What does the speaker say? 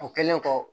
O kɛlen kɔ